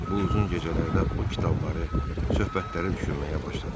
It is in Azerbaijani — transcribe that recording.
Bu uzun gecələrdə o kitabları, söhbətləri düşünməyə başladım.